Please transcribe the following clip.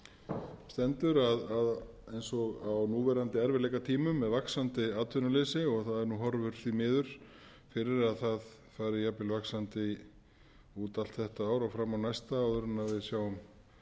stendur eins og á núverandi erfiðleikatímum með vaxandi atvinnuleysi og það eru nú horfur því miður fyrir að það fari jafnvel vaxandi út allt þetta ár og fram á næsta áður en við sjáum fyrir endann á